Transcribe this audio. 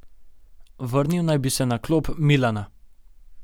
Vrnil naj bi se na klop Milana.